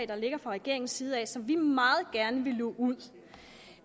der ligger fra regeringens side som vi meget gerne vil luge ud